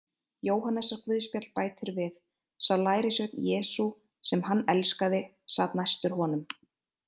Jóhannesarguðspjall bætir við: Sá lærisveinn Jesú, sem hann elskaði, sat næstur honum.